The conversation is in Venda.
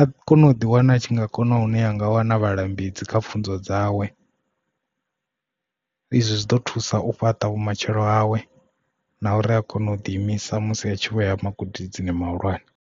a kona u ḓi wana a tshi nga kona u ya nga wana vhalambedzi kha pfunzo dzawe. Izwi zwi ḓo thusa u fhaṱa vhu matshelo hawe na uri a kone u ḓi imisa musi a tshi vho ya magudedzini mahulwane.